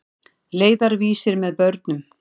Leiðarvísir með börnum.